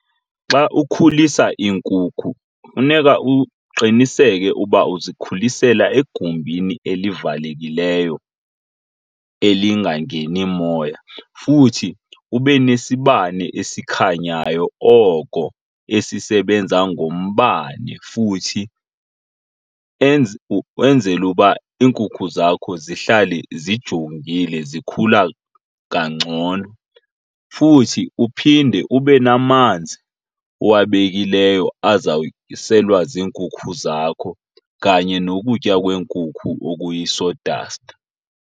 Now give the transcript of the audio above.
Xa ukhulisa iinkukhu funeka uqiniseke uba uzikhulisela egumbini elivalekileyo elingangeni moya. Futhi ube nesibane esikhanyayo oko esisebenza ngombane futhi ukwenzela uba iinkukhu zakho zihlale zijongile zikhula kangcono. Futhi uphinde ube namanzi owabekileyo azawuselwa ziinkukhu zakho kanye nokutya kweenkukhu okuyi-saw dust.